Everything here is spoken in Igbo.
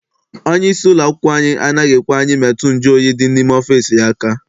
Onye isi ụlọakwụkwọ anyị anaghị ekwe anyị metụ nju oyi dị n'ime ọfịịsi aka.